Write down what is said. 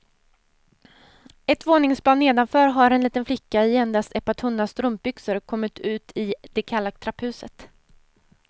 Ett våningsplan nedanför har en liten flicka i endast ett par tunna strumpbyxor kommit ut i det kalla trapphuset.